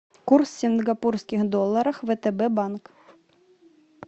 курс сингапурских долларах втб банк